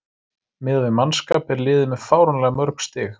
Miðað við mannskap er liðið með fáránlega mörg stig.